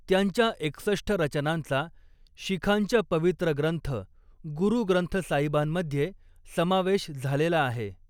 त्यांच्या एकसष्ठ रचनांचा, शिखांच्या पवित्र ग्रंथ, गुरु ग्रंथ साहिबांमध्ये समावेश झालेला आहे.